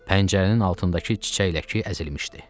Pəncərənin altındakı çiçək ləki əzilmişdi.